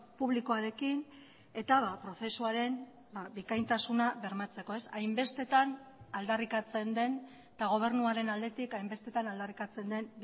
publikoarekin eta prozesuaren bikaintasuna bermatzeko hainbestetan aldarrikatzen den eta gobernuaren aldetik hainbestetan aldarrikatzen den